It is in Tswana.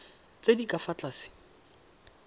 tse di ka fa tlase